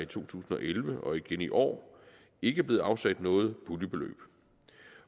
tusind og elleve og igen i år ikke er blevet afsat noget puljebeløb